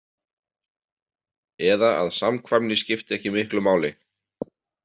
Eða að samkvæmni skipti ekki miklu máli.